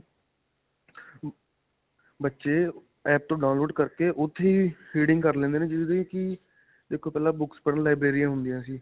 ਬੱਚੇ app ਤੋ download ਕਰਕੇ ਉੱਥੇ ਹੀ reading ਕਰ ਲੈਂਦੇ ਨੇ, ਜਿਵੇਂ ਕਿ ਦੇਖੋ ਪਹਿਲਾਂ books ਪੜ੍ਹਨ ਲਈ ਲਾਇਬ੍ਰੇਰੀਆਂ ਹੁੰਦੀਆਂ ਸੀ .